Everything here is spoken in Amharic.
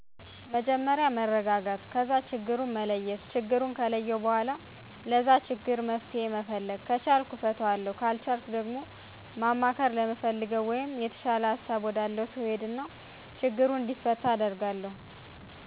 መጀመርያ መረጋጋት ከዛ ችግሩን መለየት ችግሩን ከለየሁ በኋላ ለዛ ችግር መፍትሄ መፈለግ ከቻልሁ እፈታዋለሁ ካልቻልሁ ደግሞ ማማከር ለምፈለገው/የተሻለ ሀሳብ ወዳለው ሰው እሄድና ችግሩ እንዲፈታ አደርጋለሁ።